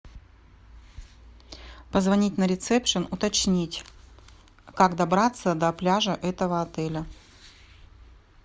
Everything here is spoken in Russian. позвонить на ресепшн уточнить как добраться до пляжа этого отеля